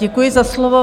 Děkuji za slovo.